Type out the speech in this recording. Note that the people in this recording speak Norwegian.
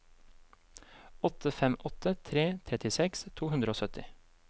åtte fem åtte tre trettiseks to hundre og sytti